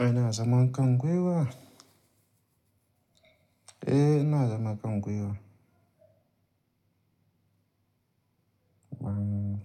Eh ina zama Kangwe wa. Eh ina zama Kangwe wa. Ban